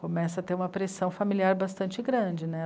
Começa a ter uma pressão familiar bastante grande, né?